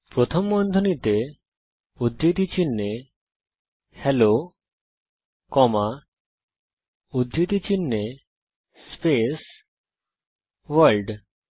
প্রথম বন্ধনীতে উদ্ধৃতি চিনহে হেলো কমা উদ্ধৃতি চিনহে স্পেস ভোর্ল্ড